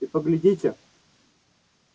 и поглядите